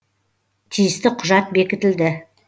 тиісті құжат бекітілді